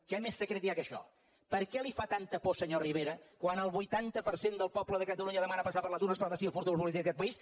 què més secret hi ha que això per què li fa tanta por senyor rivera quan el vuitanta per cent del poble de catalunya demana passar per les urnes per decidir el futur polític d’aquest país